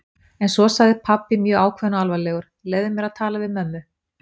En svo sagði pabbi mjög ákveðinn og alvarlegur: Leyfðu mér að tala við mömmu?